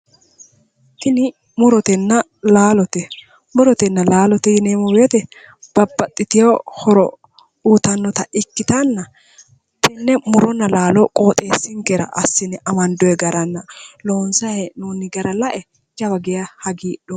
Tini murotenna laalote, murotenna laalote yinneemmo woyte babbaxitino horo uyittanotta ikkittanna tene muronna laalo qoxxeesinkera assine amandonni garanna loonsanni hee'nonni gara lae jawa geeshsha hagiidhoomma.